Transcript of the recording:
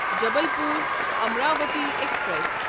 Jabalpur Amravati express